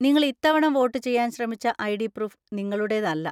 നിങ്ങൾ ഇത്തവണ വോട്ട് ചെയ്യാൻ ശ്രമിച്ച ഐ.ഡി. പ്രൂഫ് നിങ്ങളുടേതല്ല.